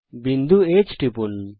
বিন্দু H টিপুন